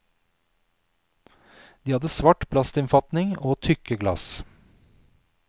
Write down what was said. De hadde svart plastinnfatning og tykke glass.